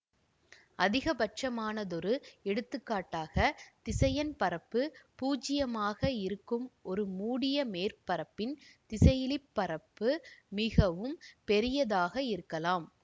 அதிகபட்சமானதொரு எடுத்துக்காட்டாக திசையன் பரப்பு பூச்சியமாக இருக்கும் ஒரு மூடிய மேற்பரப்பின் திசையிலி பரப்பு மிகவும் பெரியதாக இருக்கலாம்